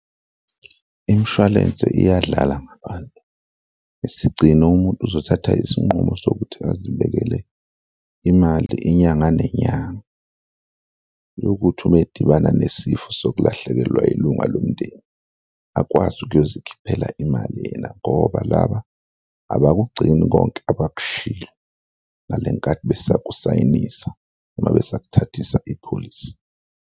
Imshwalense iyadlala ngabantu, isigcino umuntu uzothatha isinqumo sokuthi azibekele imali inyanga nenyanga, yokuthi uma edibana nesifo sokulahlekelwa ilunga lomndeni, akwazi ukuyozikhiphela imali yena ngoba laba abakugcini konke abakushilo ngale nkathi besakusayinisa uma besakuthathisa ipholisi.